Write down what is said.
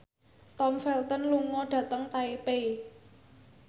Tom Felton lunga dhateng Taipei